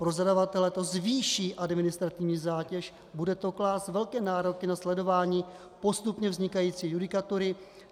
Pro zadavatele to zvýší administrativní zátěž, bude to klást velké nároky na sledování postupně vznikající judikatury.